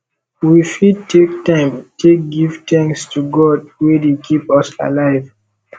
we fit take time take give thanks to god wey dey keep us alive